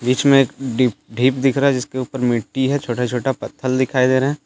बीच में एक डिप ढीप दिख रहा है जिसके उपर मिट्टी है छोटा छोटा पत्थल दिखाई दे रहे--